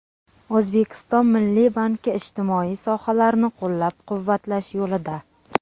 O‘zbekiston Milliy banki ijtimoiy sohalarni qo‘llab-quvvatlash yo‘lida.